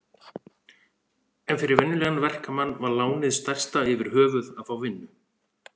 En fyrir venjulegan verkamann var lánið stærsta yfirhöfuð að fá vinnu.